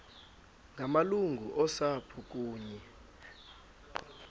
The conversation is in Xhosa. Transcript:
ngamalungu osapho kunye